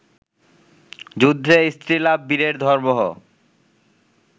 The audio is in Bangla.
যুদ্ধে স্ত্রীলাভ বীরের ধর্মহ